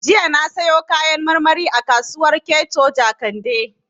Jiya na sayo Kayan marmari a kasuwar Keto Jakande